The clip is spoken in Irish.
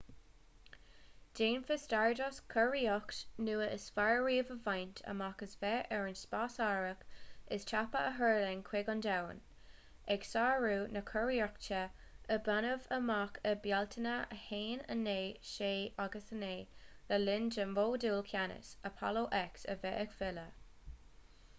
déanfaidh stardust curiarracht nua is fearr riamh a bhaint amach as bheith ar an spásárthach is tapa a thuirling chuig an domhan ag sárú na curiarrachta a baineadh amach i mbealtaine 1969 le linn do mhodúl ceannais apollo x a bheith ag filleadh